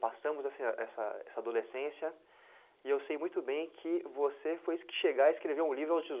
Passamos essa essa adolescência e eu sei muito bem que você foi esse que chegou a escrever um livro aos dezo